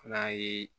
Ala ye